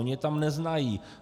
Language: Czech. Oni je tam neznají.